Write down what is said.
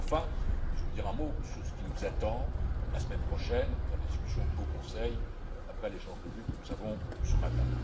Enfin, je veux dire un mot sur ce qui nous attend la semaine prochaine dans les discussions au Conseil après l'échange de vues que nous avons eu ce matin.